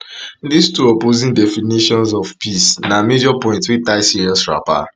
dis two opposing definitions of peace na major point wey tie serious wrapper